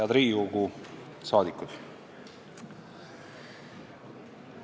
Head Riigikogu liikmed!